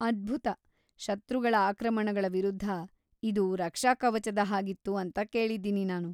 ಅದ್ಭುತ. ಶತ್ರುಗಳ ಆಕ್ರಮಣಗಳ ವಿರುದ್ಧ ಇದು ರಕ್ಷಾಕವಚದ ಹಾಗಿತ್ತು ಅಂತ ಕೇಳಿದ್ದೀನಿ ನಾನು.